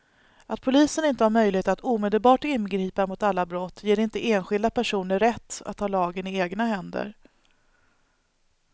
Att polisen inte har möjlighet att omedelbart ingripa mot alla brott ger inte enskilda personer rätt att ta lagen i egna händer.